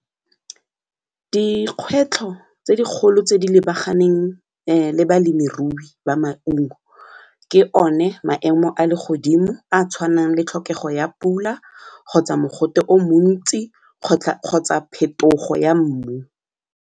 Dikgwetlho tse dikgolo tse di lebaganeng le balemirui ba maungo ke one maemo a le godimo a a tshwanang le tlhokego ya pula kgotsa mogote o montsi kgotsa phetogo ya mmu.